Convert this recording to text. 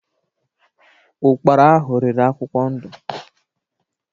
Ụ́kpara ahụ riri akwụkwọ ndụ.